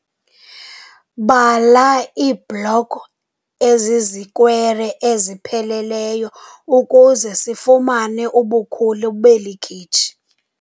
Bala iibloko ezizikwere ezipheleleyo ukuze sifumane ubukhulu beli khitshi.